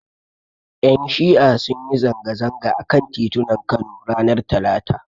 Ƴan Shi'a sun yi zanga-zanga a kan titunan Kano ranar Talata.